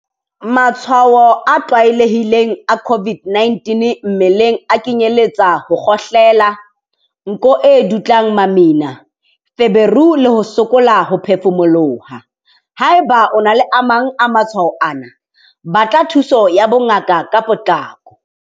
Matshwao a tlwaelehileng a COVID-19 mmeleng a kenyeletsa ho kgohlela, nko e dutlang mamina, feberu le ho sokola ho phefumoloha. Haeba o na le a mang a matshwao ana, batla thuso ya bongaka ka potlako.